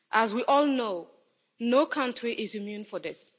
As we all know, no country is immune to this.